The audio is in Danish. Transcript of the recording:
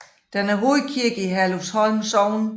Den er hovedkirke i Herlufsholm Sogn